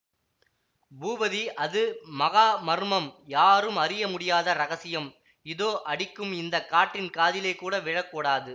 பூபதி அது மகா மர்மம் யாரும் அறிய முடியாத இரகசியம் இதோ அடிக்கும் இந்த காற்றின் காதிலே கூட விழக் கூடாது